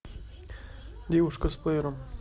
девушка с плеером